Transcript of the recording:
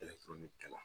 kɛla